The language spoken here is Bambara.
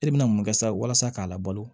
E bɛna mun kɛ sa walasa k'a labalo